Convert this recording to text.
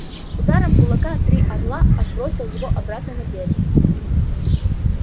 ударом кулака три орла отбросил его обратно на берег